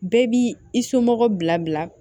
Bɛɛ b'i i somɔgɔw bila bila